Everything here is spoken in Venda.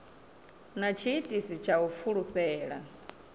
na tshiitisi tsha u fulufhela